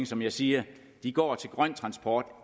som jeg siger de går til grøn transport